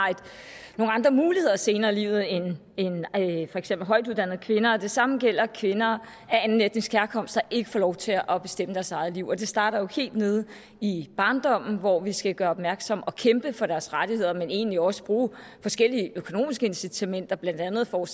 nogle andre muligheder senere i livet end for eksempel højtuddannede kvinder og det samme gælder kvinder af anden etnisk herkomst der ikke får lov til at bestemme deres eget liv og det starter jo helt nede i barndommen hvor vi skal gøre opmærksom på og kæmpe for deres rettigheder men egentlig også bruge forskellige økonomiske incitamenter blandt andet for